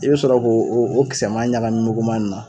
I be sɔrɔ k'o o o kisɛman ɲagamu muguman in na